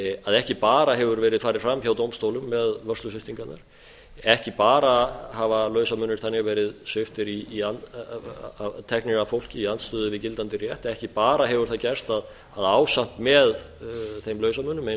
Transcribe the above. að ekki bara hefur verið farið framhjá dómstólum með vörslusviptingarnar ekki bara hafa lausamunir þannig verið teknir af fólki í andstöðu við gildandi rétt ekki bara hefur það gerst að ásamt með þeim lausamunum eins og